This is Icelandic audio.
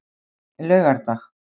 laugardag